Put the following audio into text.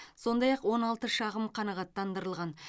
сондай ақ он алты шағым қанағаттандырылған